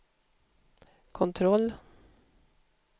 kontroll